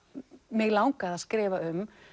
mig langaði að skrifa um